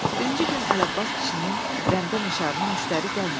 Birinci gün Ələbbas kişinin rəndəmişarına müştəri gəlmədi.